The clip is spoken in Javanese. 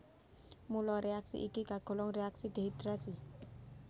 Mula réaksi iki kagolong réaksi dehidrasi